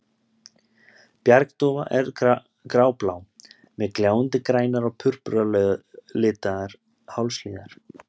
Bjargdúfa er gráblá, með gljáandi grænar og purpuralitar hálshliðar.